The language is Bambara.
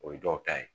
O ye dɔw ta ye